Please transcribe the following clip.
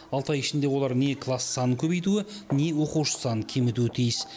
алты ай ішінде олар не класс санын көбейтуі не оқушы санын кемітуі тиіс